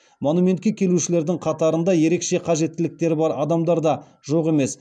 монументке келушілердің қатарында ерекше қажеттіліктері бар адамдар да жоқ емес